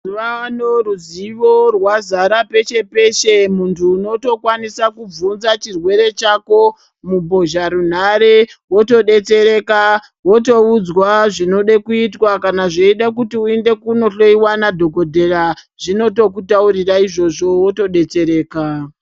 Mazuvaano ruzivo rwazara peshe peshe muntu unotokwanisa kubvunza chirwere chako mumbozharunhare wotodetsereka wotoudzwa zvinode kuitwa kana zveida kuti uende kunohloyiwa nadhokodheya wotoenda zvinotokutaurira izvozvo wotodetsereka.